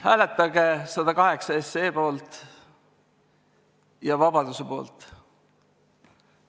Hääletage eelnõu 108 poolt ja vabaduse poolt!